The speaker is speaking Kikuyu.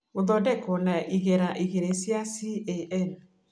Gũthondekwo na igera igĩrĩ cia CAN